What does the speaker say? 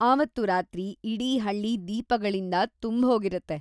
ಆವತ್ತು ರಾತ್ರಿ, ಇಡೀ ಹಳ್ಳಿ ದೀಪಗಳಿಂದ ತುಂಬ್ಹೋಗಿರತ್ತೆ.